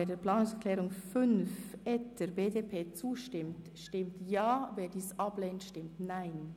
Wer der Planungserklärung 5 zustimmt, stimmt Ja, wer diese ablehnt, stimmt Nein.